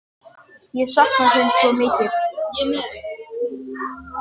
Ég sakna þín svo mikið!